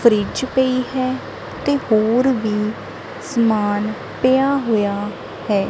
Fridge ਪਈ ਹੈ ਤੇ ਹੋਰ ਵੀ ਸਮਾਨ ਪਿਆ ਹੋਇਆ ਹੈ।